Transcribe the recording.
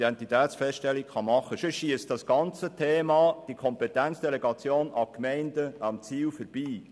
Andernfalls schiesst das ganze Thema der Kompetenzdelegation an Gemeinden am Ziel vorbei.